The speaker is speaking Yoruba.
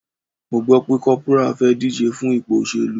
Mo gbo pe corporal fe dije fun ipo oselu